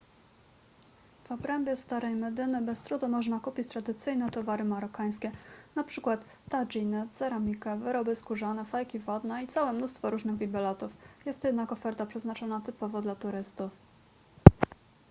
w obrębie starej medyny bez trudu można kupić tradycyjne towary marokańskie np tadżiny ceramikę wyroby skórzane fajki wodne i całe mnóstwo różnych bibelotów jest to jednak oferta przeznaczona typowo dla turystów